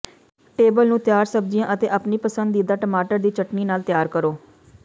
table ਨੂੰ ਤਿਆਰ ਸਬਜ਼ੀਆਂ ਅਤੇ ਆਪਣੀ ਪਸੰਦੀਦਾ ਟਮਾਟਰ ਦੀ ਚਟਣੀ ਨਾਲ ਤਿਆਰ ਕਰੋ